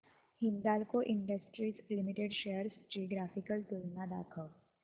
Hindalco industries limited shares ची graphical तुलना दाखव